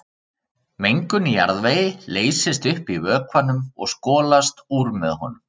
Mengun í jarðvegi leysist upp í vökvanum og skolast úr með honum.